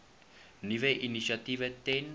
nuwe initiatiewe ten